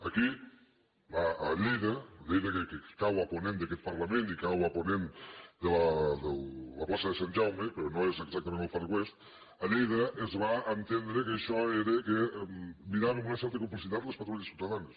aquí a lleida a lleida que cau a ponent d’aquest parlament i cau a ponent de la plaça de sant jaume però no és exactament el far west a lleida es va entendre que això era que mirava amb una certa complicitat les patrulles ciutadanes